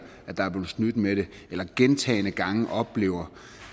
at der er blevet snydt med det eller gentagne gange oplever